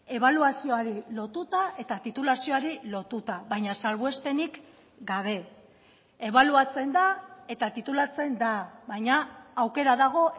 ebaluazioari lotuta eta titulazioari lotuta baina salbuespenik gabe ebaluatzen da eta titulatzen da baina aukera dago